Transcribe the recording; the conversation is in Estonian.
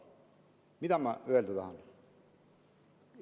Mida ma öelda tahan?